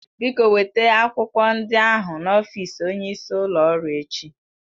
Biko weta akwụkwọ ndị ahụ n'ọfịs onyeisi ụlọ ọrụ echi